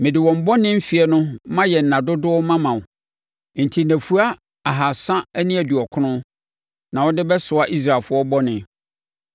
Mede wɔn bɔne mfeɛ no mayɛ nna dodoɔ mama wo. Enti nnafua ahasa ne aduɔkron (390) na wode bɛsoa Israelfoɔ bɔne.